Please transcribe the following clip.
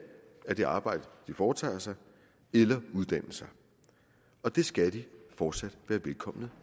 af det arbejde de foretager sig eller uddanne sig og det skal de fortsat være velkomne